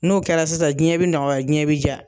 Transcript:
N'o kɛra sisan, diɲɛ bɛ nɔgɔya, diɲɛ bɛ diya.